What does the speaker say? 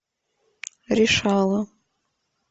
решала